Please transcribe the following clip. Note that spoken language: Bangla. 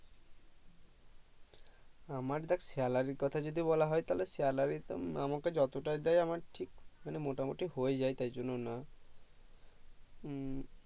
আমার দেখ salary কথা যদি বলা হয় তাহলে salary আমাকে যত তাই দেয় আমার ঠিক মানে মোটা মটি হয়ে যাই তাই জন্য না